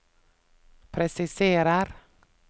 presiserer